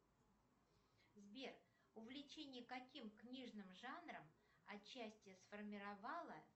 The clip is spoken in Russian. сбер увлечение каким книжным жанром отчасти сформировало